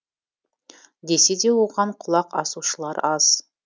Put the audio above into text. десе де оған құлақ асушылар аз